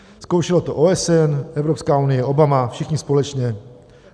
Zkoušelo to OSN, Evropská unie, Obama, všichni společně.